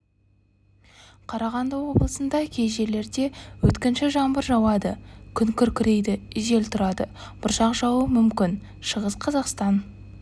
қарағанды облысында кей жерлерде өткінші жаңбыр жауады күн күркірейді жел тұрады бұршақ жаууы мүмкін шығыс қазақстан